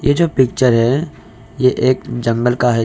जो पिक्चर है ये एक जंगल का है।